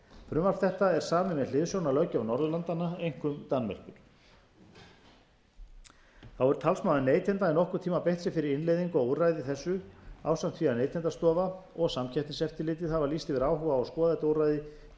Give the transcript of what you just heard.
frumvarp þetta er samið með hliðsjón af löggjöf norðurlandanna einkum danmerkur þá hefur talsmaður neytenda í nokkurn tíma beitt sér fyrir innleiðingu á úrræði þessu ásamt því að neytendastofa og samkeppniseftirlitið hafa lýst yfir áhuga á að skoða þetta úrræði til þess